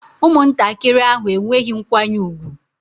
Ụmụntakịrị ahụ enweghị nkwanye ùgwù